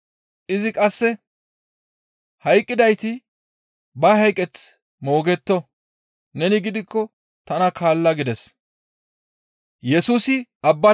Izi qasse, «Hayqqidayti ba hayqeth moogetto; neni gidikko tana kaalla» gides.